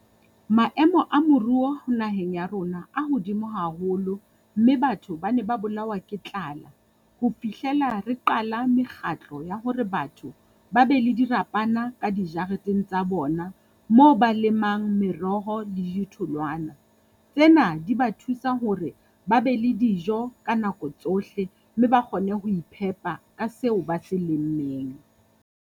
Maemo a moruo naheng ya rona a hodimo haholo, mme batho ba ne ba bolawa ke tlala. Ho fihlela re qala mekgatlo ya hore batho ba be le dirapana ka dijareteng tsa bona moo ba lemang meroho le dithwloana. Tsena di ba thusa hore ba be le dijo ka nako tsohle, mme ba kgone ho iphepa ka seo ba se lemmeng.